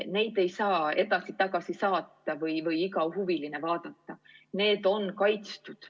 Neid ei saa edasi-tagasi saata või iga huviline vaadata, need on kaitstud.